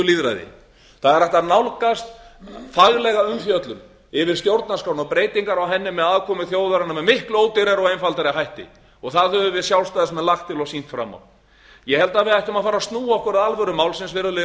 lýðræði það er hægt að nálgast faglega umfjöllun yfir stjórnarskrána og breytingar á henni með aðkomu þjóðarinnar með miklu ódýrari og einfaldari hætti það höfum við sjálfstæðismenn lagt til og sýnt fram á ég held að við ættum að fara að snúa okkur að alvöru málsins virðulegi